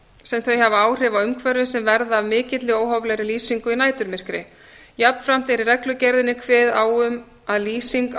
sem þau áhrif á umhverfi sem verða af mikilli og óhóflegri lýsingu í næturmyrkri jafnframt er í reglugerðinni kveðið á um að lýsing á